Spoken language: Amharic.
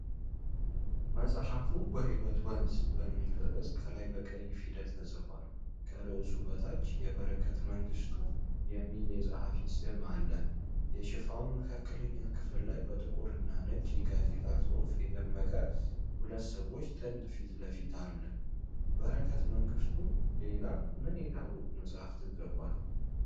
መጽሐፉ "በሕይወት ወንዝ"በሚል ርዕስ ከላይ በቀይ ፊደላት ተጽፏል። ከርዕሱ በታች "የበረከት መንግሥቱ" የሚል የጸሐፊ ስም አለ። የሽፋኑ መካከለኛ ክፍል ላይ በጥቁር እና ነጭ የጋዜጣ ጽሑፍ የደመቀ፣ የሁለት ሰዎች ጥንድ ፊት አለ። በረከት መንግሥቱ ሌላ ምን የታወቁ መጻሕፍትን ጽፏል?